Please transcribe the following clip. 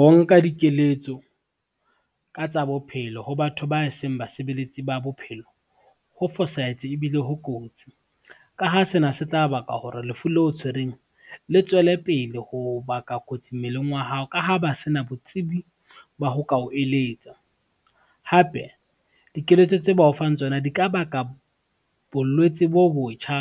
Ho nka dikeletso, ka tsa bophelo ho batho ba seng basebeletsi ba bophelo, ho fosahetse ebile ho kotsi, ka ha sena se tla ba ka hore lefu le o tshwereng le tswele pele ho baka kotsi mmeleng wa hao, ka ha ba sena botsebi ba ho ka o eletsa. Hape dikeletso tse ba o fang tsona di ka baka bolwetse bo botjha